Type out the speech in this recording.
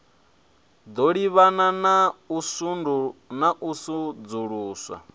ḓo livhana na u sudzuluswa